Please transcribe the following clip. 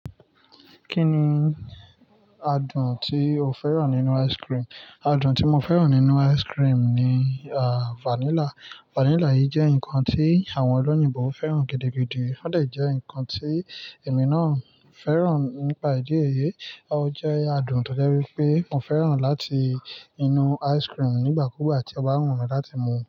Kí ni adùn tí o fẹ́ràn nínú ice cream? Adùn tí mo fẹ́ràn nínú ice cream ni, à, vanilla. Vanilla yìí jẹ́ nǹkan tí àwọn olóyìnbo fẹ́ràn gidi, gidi. Ó de jẹ́ ǹkan tí èmi náà fẹ́ràn nípa ìdí ẹyẹ. Ó jẹ́ adùn tọ̀jẹ wípé mo fẹ́ràn láti inú ice cream nígbàkúùgbà tí ọba ń wùn mí láti mú u.